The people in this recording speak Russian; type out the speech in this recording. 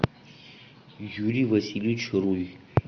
юрий васильевич руй